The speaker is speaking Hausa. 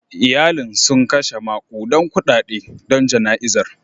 Iyalin sun kashe makudan kudade don jana'izar.